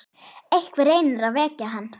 Einhver reynir að vekja hana.